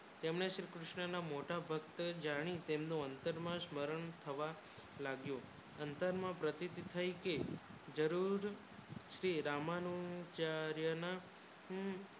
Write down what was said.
તમને શ્રી કૃષ્ણ ના મોટા ભક્ત જાને તમને અંતર માં શ્રવણ થવા લાગ્યો અંતર માં પ્રતીક થાય કે જરૂર શ્રી રમાડો ચાર્ય નું હું